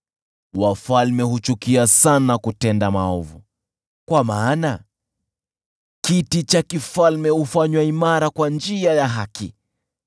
Wafalme huchukia sana kutenda maovu, kwa maana kiti cha ufalme hufanywa imara kwa njia ya haki.